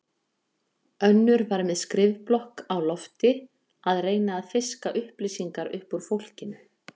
Önnur var með skrifblokk á lofti að reyna að fiska upplýsingar upp úr fólkinu.